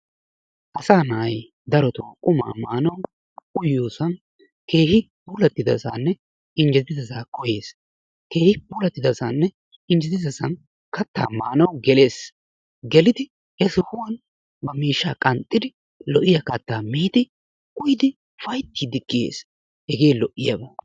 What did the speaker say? Asaa na'ay darotoo qumaa maanawu uyiyosan keehin puulattidasaanne injjetidasaa koyees. Keehi puulattidasanne injjetidasan kattaa maanawu gelees, gelidi he sohuwan ba miishshaa qanxxidi lo"iya kattaa miidi uyidi ufayttiiddi kiyees. Hegee lo"iyaba.